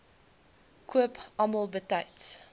koop almal betyds